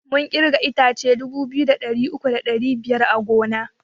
Mun kirga itace dubu biyu da ɗari uku da ɗari biyar a gona